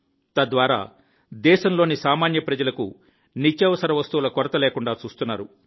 తద్వారా దేశంలోని సామాన్య ప్రజలకు నిత్యావసర వస్తువుల కొరత లేకుండా చూస్తున్నారు